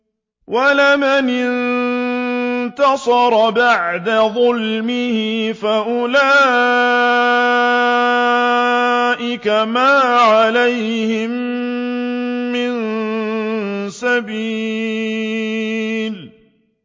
وَلَمَنِ انتَصَرَ بَعْدَ ظُلْمِهِ فَأُولَٰئِكَ مَا عَلَيْهِم مِّن سَبِيلٍ